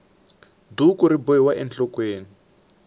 duku ri bohiwa enhlokweni